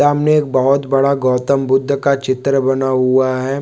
सामने एक बहोत बड़ा गौतम बुद्ध का चित्र बना हुआ हैं।